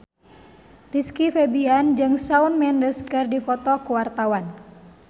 Rizky Febian jeung Shawn Mendes keur dipoto ku wartawan